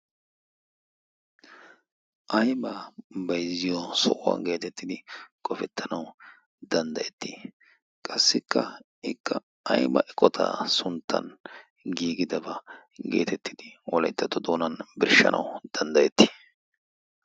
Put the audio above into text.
Aybba baayzziyo sohuwa getettidi qofettanaw danddayetii? qassikka ikk aybba eqqota sunttan giigidaba getettidi wolayttato doonan birshshetanaw danddayeeti?